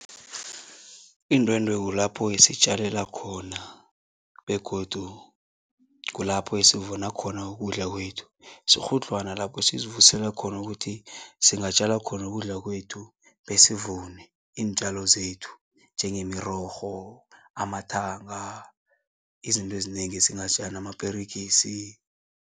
Indwendwe kulapho-ke sitjalela khona begodu kulapho esivuna khona ukudla kwethu. Sikghudlhwana lapho sizivusela khona ukuthi singatjala khona ukudla kwethu besivune iintjalo zethu njengemirorho, amathanga, izinto ezinengi amaperegisi.